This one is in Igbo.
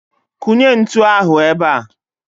Kụnye ntụ ahụ ebea!